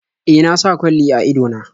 E, na sa kwalli a ido na.